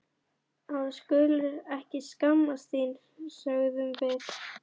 Að þú skulir ekki skammast þín, sögðum við.